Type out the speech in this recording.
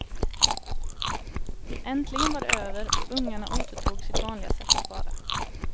Äntligen var det över och ungarna återtog sitt vanliga sätt att vara.